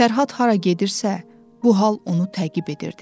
Fərhad hara gedirsə, bu hal onu təqib edirdi.